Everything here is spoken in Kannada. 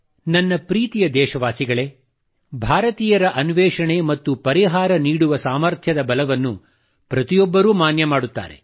ನನ್ನ ಪ್ರೀತಿಯ ದೇಶವಾಸಿಗಳೇ ಭಾರತೀಯರ ಅನ್ವೇಷಣೆ ಮತ್ತು ಪರಿಹಾರ ನೀಡುವ ಸಾಮರ್ಥ್ಯದ ಬಲವನ್ನು ಪ್ರತಿಯೊಬ್ಬರೂ ಮಾನ್ಯ ಮಾಡುತ್ತಾರೆ